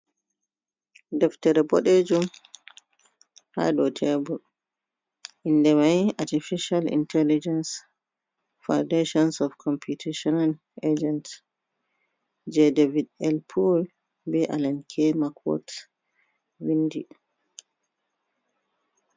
Deftere ɓedejum hado tebur indamai artificial intelligence foundations of computitionl agent, ja david elpoore be allenk macworth vindi.